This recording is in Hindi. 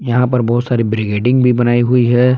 यहां पर बहुत सारी ब्रिगेडिंग भी बनाई हुई है।